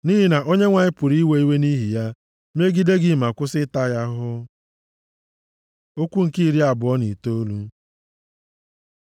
Nʼihi na Onyenwe anyị pụrụ iwe iwe nʼihi ya megide gị ma kwụsị ịta ya ahụhụ. Okwu nke iri abụọ na itoolu